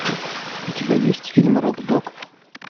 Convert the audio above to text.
у тебя есть фильм рок дог